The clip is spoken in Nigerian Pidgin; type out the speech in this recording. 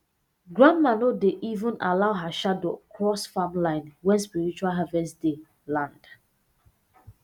grandma no dey even allow her shadow cross farm line when spiritual harvest day land